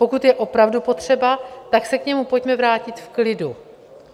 Pokud je opravdu potřeba, tak se k němu pojďme vrátit v klidu.